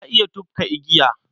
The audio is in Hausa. Na iya tufka igiya.